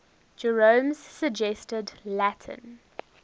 jerome's suggested latin